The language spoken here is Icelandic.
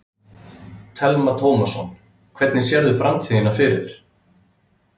Telma Tómasson: Hvernig sérðu framtíðina fyrir þér?